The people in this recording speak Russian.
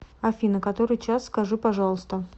афина который час скажи пожалуйста